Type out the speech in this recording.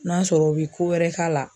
N'a sɔrɔ u bɛ ko wɛrɛ k'a la.